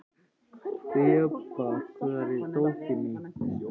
Þeba, hvar er dótið mitt?